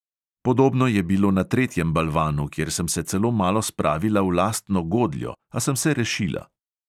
Podobno je bilo na tretjem balvanu, kjer sem se celo malo spravila v lastno godljo, a sem se rešila.